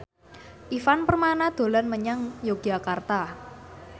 Ivan Permana dolan menyang Yogyakarta